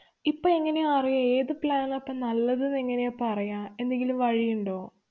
ഇപ്പൊ എങ്ങനെയാ അറിയ ഏതു plan നാപ്പ നല്ലതെന്ന് എങ്ങനെയാ പറയാ. എന്തെങ്കിലും വഴിയുണ്ടോ?